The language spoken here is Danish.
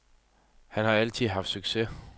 Han har altid haft succes.